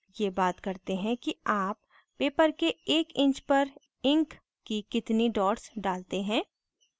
ये बात करते हैं कि आप paper के एक inch पर ink की कितनी dots डालते हैं